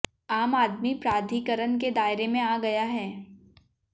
आम आदमी प्राधिकरण के दायरे में आ गया है